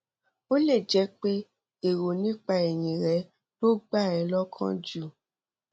ó lè jẹ pé èrò nípa ẹyìn rẹ ló gbà ẹ lọkàn jù